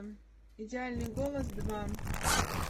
идеальный голос два